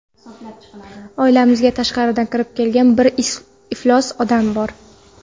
Oilamizga tashqaridan kirib kelgan bir iflos inson bor.